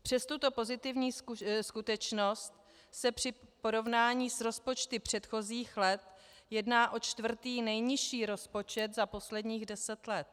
Přes tuto pozitivní skutečnost se při porovnání s rozpočty předchozích let jedná o čtvrtý nejnižší rozpočet za posledních deset let.